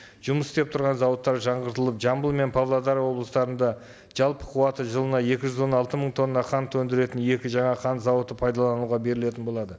жұмыс істеп тұрған зауыттар жаңғыртылып жамбыл мен павлодар облыстарында жалпы қуаты жылына екі жүз он алты мың тонна қант өндіретін екі жаңа қант зауыты пайдалануға берілетін болады